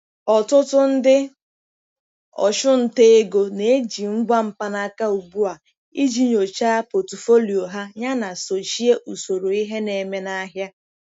Ọtụtụ ndị ọchụnta ego na-eji ngwa mkpanaka ugbu a iji nyochaa pọtụfoliyo ha yana sochie usoro ihe na-eme n'ahịa.